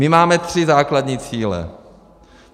My máme tři základní cíle.